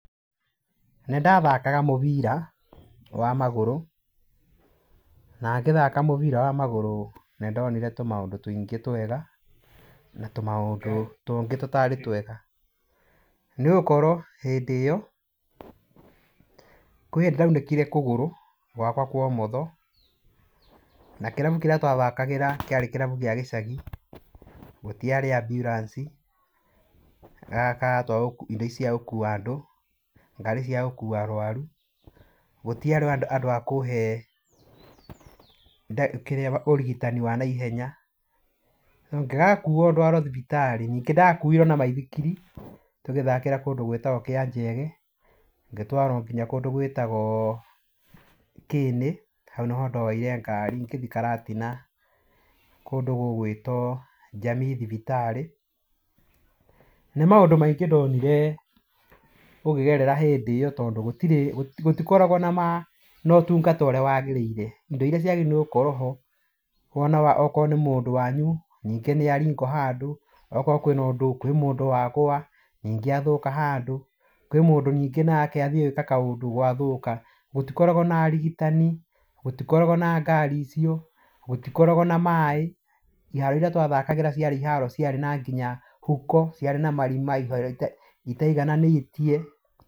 Nĩ ndathakaga mũbira wa magũrũ na ngĩthaka mũbira wa magũrũ nĩ ndonire tũmaũndũ tũingĩ twega na tũmaũndũ tũngĩ tũtarĩ twega. Nĩ gũkorwo hĩndĩ ĩyoi kwĩ hĩndĩ ndaunĩkire kũgũrũ gwakwa kwa ũmotho na kĩrabu kĩrĩa twathakagĩra kĩarĩ kĩrabu gĩa gĩcagi. Gũtiarĩ ambulance gaka ga gũtwarwo cia gũkua andũ ngari cia gũkua arwaru, gũtiarĩ andũ a kuhe urigitani wa naihenya. Ingĩgakuo ndwarwo thibitarĩ ningĩ ndakuirwo na maithikiri tũgĩthakĩra kũndũ gwĩtagwo Kĩanjege ngĩtwarwo kũndũ gwĩtagwo kĩĩnĩ, hau nĩho ndoeire ngari ngĩthiĩ Karatina kũndũ gũgwĩtwo Jamii thibitarĩ. Nĩ maũndũ maingĩ ndonire gũkĩgerera hĩndi iyo tondũ gũtikoragwo na ũtungata ũria wagĩrĩire indo iria ciagĩrĩirwo ni gukorwo ho onokorwo nĩ mũndũ wanyu ningĩ nĩ aringwo handũ, ũgakora kwĩ mũndũ wagũa ningĩ athũka handũ. Kwĩ mũndũ ningĩ athiĩ gwĩka kaũndũ ningĩ gwathũka, gũtikoragwo na arigitani, gũtikoragwo na ngari icio gũtikoragwo na maaĩ, iharo iria twathakagĩra ciarĩ iharo ciarĩ na nginya huko ciarĩ na marima iharo itaigananĩtie.